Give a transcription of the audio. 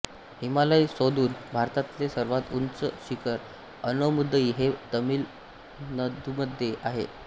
हिमालय सोदुन् भारतातले सर्वात उन्च शिखर आनैमुदई हे तमिलनदुमध्ये आहे